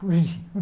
Fugiu.